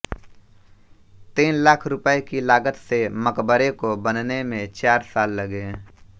तीन लाख रुपये की लागत से मकबरे को बनने में चार साल लगे